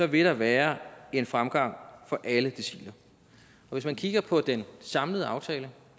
vil være en fremgang for alle deciler og hvis man kigger på den samlede aftale